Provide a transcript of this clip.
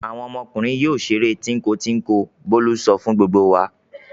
"Àwọn ọmọkùnrin yóò ṣeré tínko-tínko!" Bólú sọ fún gbogbo wa.